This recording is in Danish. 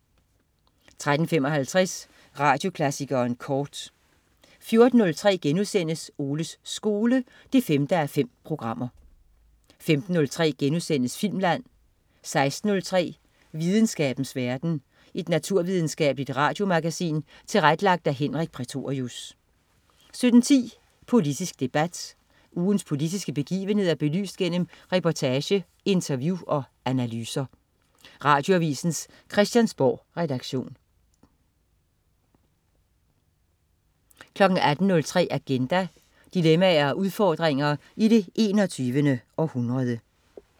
13.55 Radioklassikeren kort 14.03 Oles skole 5:5* 15.03 Filmland* 16.03 Videnskabens verden. Et naturvidenskabeligt radiomagasin tilrettelagt af Henrik Prætorius 17.10 Politisk debat. Ugens politiske begivenheder belyst gennem reportage, interview og analyser. Radioavisens Christiansborgredaktion 18.03 Agenda. Dilemmaer og udfordringer i det 21. århundrede